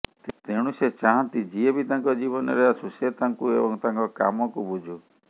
ତେଣୁ ସେ ଚାହାନ୍ତି ଯିଏ ବି ତାଙ୍କ ଜୀବନରେ ଆସୁ ସେ ତାଙ୍କୁ ଏବଂ ତାଙ୍କ କାମକୁ ବୁଝୁ